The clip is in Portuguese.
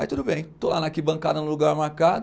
Aí tudo bem, estou lá na arquibancada no lugar marcado